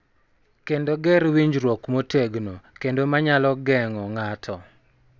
Kendo ger winjruok motegno kendo ma nyalo geng�o ng�ato.